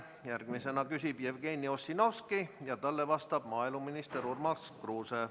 Järgmisena küsib Jevgeni Ossinovski ja talle vastab maaeluminister Urmas Kruuse.